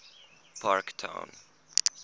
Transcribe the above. parktown